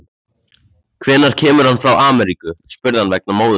Hvenær kemur hann frá Ameríku, spurði hann vegna móður sinnar.